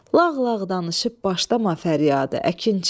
Lağlağ danışıb başlama fəryada, əkinçi.